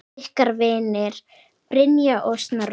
Ykkar vinir, Brynja og Snorri.